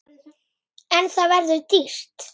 En það verður dýrt.